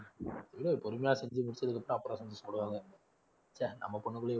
இல்ல பொறுமையா செஞ்சு முடிச்சதுக்கப்புறம் அப்புறம் சந்தோஷபடுவாங்க. ச்சே நம்ம பொண்ணுக்குள்ளயும்